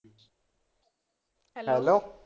Hello.